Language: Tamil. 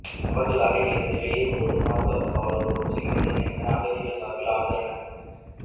அவர்கள் அறைகளில் இருந்து வெளியேறும்போது பாதுகாப்பு காவலர்கள் உடன் செல்கின்றனர் என்று அகதிகள் சார்பில் ஆஜரான